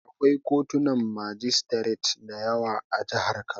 Akwai kotunan majistiret da yawa a jihar Kano.